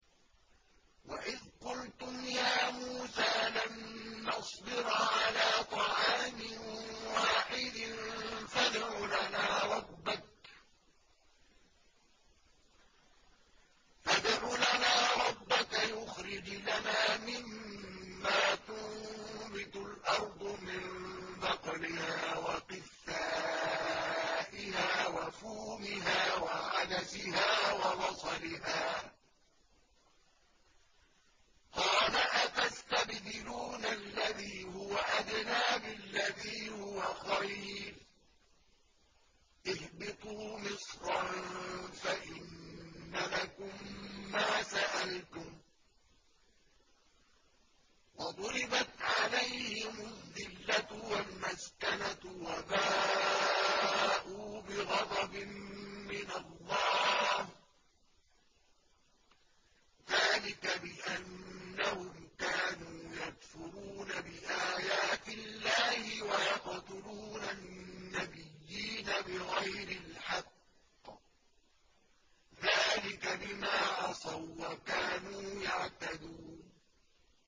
وَإِذْ قُلْتُمْ يَا مُوسَىٰ لَن نَّصْبِرَ عَلَىٰ طَعَامٍ وَاحِدٍ فَادْعُ لَنَا رَبَّكَ يُخْرِجْ لَنَا مِمَّا تُنبِتُ الْأَرْضُ مِن بَقْلِهَا وَقِثَّائِهَا وَفُومِهَا وَعَدَسِهَا وَبَصَلِهَا ۖ قَالَ أَتَسْتَبْدِلُونَ الَّذِي هُوَ أَدْنَىٰ بِالَّذِي هُوَ خَيْرٌ ۚ اهْبِطُوا مِصْرًا فَإِنَّ لَكُم مَّا سَأَلْتُمْ ۗ وَضُرِبَتْ عَلَيْهِمُ الذِّلَّةُ وَالْمَسْكَنَةُ وَبَاءُوا بِغَضَبٍ مِّنَ اللَّهِ ۗ ذَٰلِكَ بِأَنَّهُمْ كَانُوا يَكْفُرُونَ بِآيَاتِ اللَّهِ وَيَقْتُلُونَ النَّبِيِّينَ بِغَيْرِ الْحَقِّ ۗ ذَٰلِكَ بِمَا عَصَوا وَّكَانُوا يَعْتَدُونَ